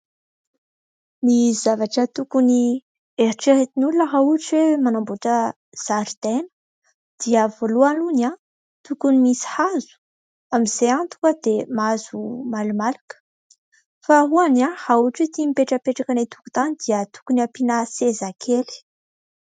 Ny zavatra tokony heritreretin'olona raha ohatra hoe manambotra zaridaina dia voalohany aloha tokony misy hazo amin'izay tonga dia mahazo malomaloka, faharoa raha ohatra tia mipetrapetraka any an-tokotany dia tokony ampiana sezakely.